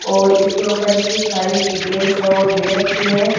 और इसके ऊपर इसकी सारी डिटेल्स हैं वो दे रखी हैं।